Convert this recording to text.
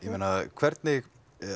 hvernig